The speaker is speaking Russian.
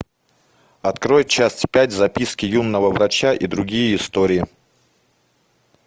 открой часть пять записки юного врача и другие истории